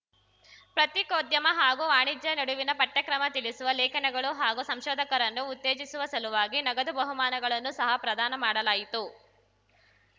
ಪ್ರತ್ತಿಕೋದ್ಯಮ ಹಾಗೂ ವಾಣಿಜ್ಯ ನಡುವಿನ ಪಠ್ಯಕ್ರಮ ತಿಳಿಸುವ ಲೇಖನಗಳು ಹಾಗೂ ಸಂಶೋಧಕರನ್ನುಉತ್ತೇಜಿಸುವ ಸಲುವಾಗಿ ನಗದು ಬಹುಮಾನಗಳನ್ನು ಸಹ ಪ್ರದಾನ ಮಾಡಲಾಯಿತು